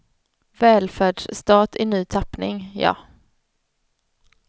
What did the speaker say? Välfärdsstat i ny tappning, ja.